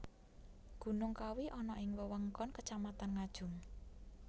Gunung Kawi ana ing wewengkon Kacamatan Ngajum